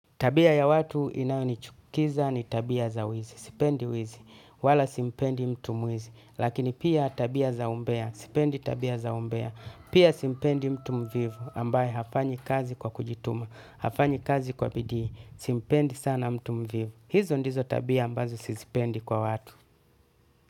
Tabia ya watu inayonichukiza ni tabia za wizi, sipendi wizi, wala simpendi mtu mwizi, lakini pia tabia za umbea, sipendi tabia za umbea, pia simpendi mtu mvivu, ambaye hafanyi kazi kwa kujituma, hafanyi kazi kwa bidii, simpendi sana mtu mvivu, hizo ndizo tabia ambazo sizipendi kwa watu.